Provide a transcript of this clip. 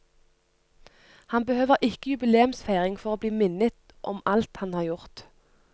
Han behøver ikke jubileumsfeiring for å bli minnet om alt han har gjort.